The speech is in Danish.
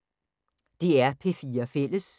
DR P4 Fælles